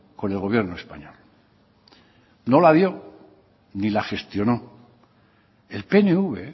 con el gobierno español no la dio ni la gestionó el pnv